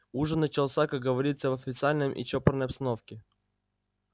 ужин начался как говорится в официальной и чопорной обстановке